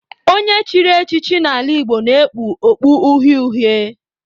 Onye e chiri echichi n'ala Igbo na-ekpu okpu uhie uhie